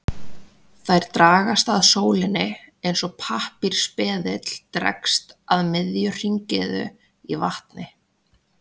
Þær dragast að sólinni eins og pappírsbleðill dregst að miðju hringiðu í vatni.